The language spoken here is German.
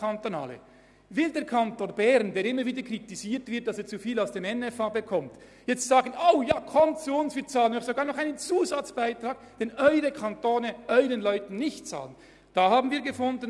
Will der Kanton Bern, der immer wieder dafür kritisiert wird, zu viel Geld aus dem NFA zu beziehen, sagen, «kommt alle zu uns, wir bezahlen euch sogar einen Zusatzbeitrag, den eure Kantone für ihre Studierenden nicht mehr entrichten?